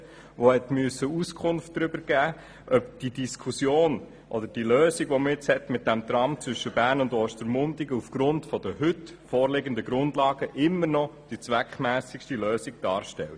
Diese musste darüber Auskunft geben, ob die vorgeschlagene Lösung mit dem Tram zwischen Bern und Ostermundigen aufgrund der heute vorliegenden Grundlagen immer noch die zweckmässigste Lösung darstellt.